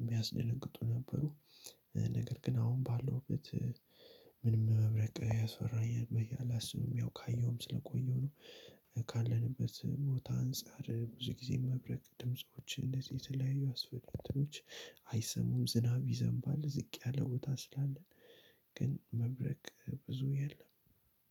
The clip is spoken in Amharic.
የሚያስደነግጡ ነበሩ። ነገር ግን አሁን ባለሁበት ምንም መብረቅ ያስፈራኛል በየ አላስብም። ያው ካየሁም ስለቆየሁ ነው። ካለንበት ቦታ አንፃር ብዙ ጊዜ መብረቅ ድምጾች እንደዚህ የተለያዩ አስፈሪ እንትኖች አይሰሙም። ዝናብ ይዘንባል ዝቅ ያለ ቦታ ስላለ። ግን መብረቅ ብዙ የለም።